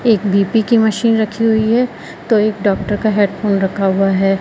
एक बी_पी की मशीन रखी हुई है। तो एक डॉक्टर का हेडफोन रखा हुआ है।